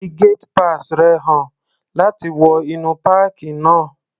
Fi gate pass rẹ̀ hàn láti wọ inú páàkì náà.